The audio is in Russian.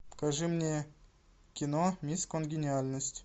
покажи мне кино мисс конгениальность